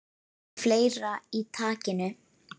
Með fleira í takinu